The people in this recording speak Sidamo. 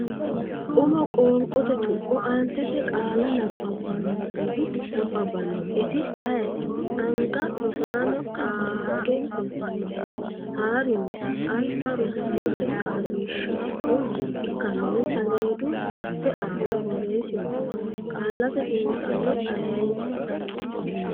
umo qoonqote tuqqo aantete qaalla nabbaannoehu nabbabbannoeti ayeeti? anga Rosaano qaagge kultannohere haa’rinsa, alba rosaanote qaaqiishshaho ikkannore saleedu marte aana borreessinsa. Qaallate Xiinxallo ayeeti?